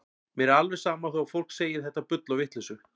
Mér er alveg sama þó að fólk segi þetta bull og vitleysu.